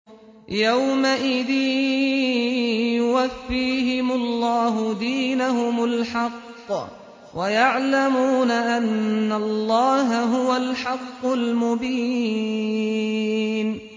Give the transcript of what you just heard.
يَوْمَئِذٍ يُوَفِّيهِمُ اللَّهُ دِينَهُمُ الْحَقَّ وَيَعْلَمُونَ أَنَّ اللَّهَ هُوَ الْحَقُّ الْمُبِينُ